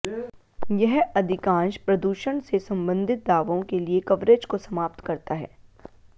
यह अधिकांश प्रदूषण से संबंधित दावों के लिए कवरेज को समाप्त करता है